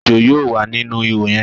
Èjò yóò wà nínú ìhò yẹ̀n